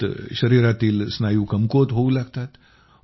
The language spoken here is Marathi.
त्यात शरीरातील स्नायू कमकुवत होऊ लागतात